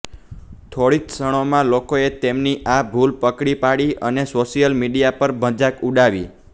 થોડી જ ક્ષણોમાં લોકોએ તેમની આ ભૂલ પકડી પાડી અને સોશિયલ મીડિયા પર મજાક ઉડાવી